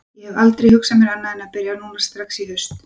Ég hef aldrei hugsað mér annað en að byrja núna strax í haust.